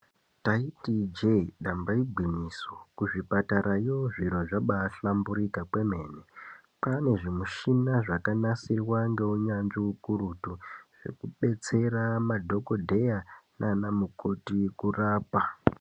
Ndaiti ijee damba igwiñyisoKuzviparatarayoZviro zvabaahlamburika kwrmene kwaaane zvimishina zvakanasirwa ngeunyanzvi ukurutu zvinodetseramadhokodheya nana mukoti kurapa.